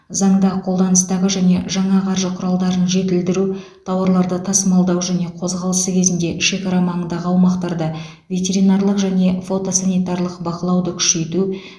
заңда қолданыстағы және жаңа қаржы құралдарын жетілдіру тауарларды тасымалдау және қозғалысы кезінде шекара маңындағы аумақтарда ветеринарлық және фотосанитарлық бақылауды күшейту